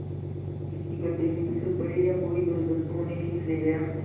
किसी गढ़े में फिसल पड़े या कोई जलजंतु उन्हें खींच ले गया